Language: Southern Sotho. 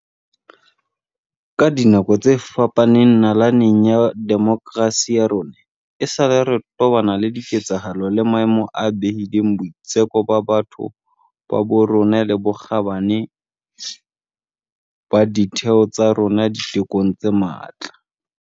Ka dinako tse fapaneng nalaneng ya demokerasi ya rona, esale re tobana le diketsahalo le maemo a behileng boitseko ba batho ba bo rona le bokgabane ba ditheo tsa rona ditekong tse matla.